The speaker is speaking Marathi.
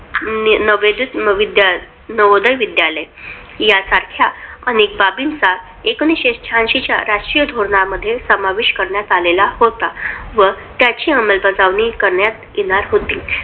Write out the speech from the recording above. नवोदय विद्यालय यांसारख्या अनेक बाबींचा एकोणविशे शहाऐंशी राष्ट्रीय धोरणामध्ये समावेश करण्यात आला होता व त्याची अंबलबजावणी करण्यात येणार होती.